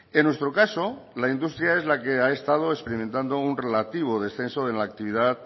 en nuestro caso la industria es la que ha estado experimentando un relativo descenso de la actividad